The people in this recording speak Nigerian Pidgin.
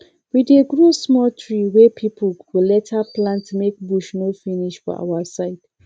we dey grow small tree wey people go later plant make bush no finish for our side